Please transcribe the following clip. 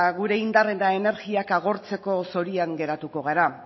gure indar eta energiak agortzeko zorian geratuko gara